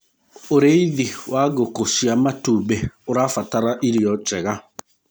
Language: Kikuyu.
ũrĩithi wa ngũkũ cia matumbi ũrabatara irio njega